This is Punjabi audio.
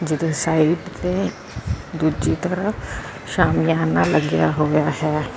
ਜਿਦੇ ਸਾਈਟ ਤੇ ਦੂਜੀ ਤਰਫ ਸ਼ਾਮੀਆਨਾ ਲੱਗਿਆ ਹੋਇਆ ਹੈ।